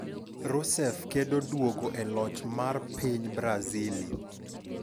Rousseff kedo duogo e loch marpiny Brazili